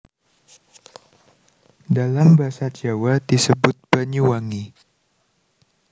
Dalam basa Jawa disebut Banyuwangi